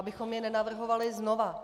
Abychom je nenavrhovali znovu.